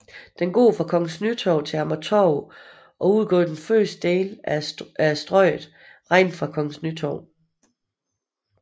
Den går fra Kongens Nytorv til Amagertorv og udgør første del af Strøget regnet fra Kongens Nytorv